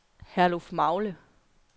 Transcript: Herlufmagle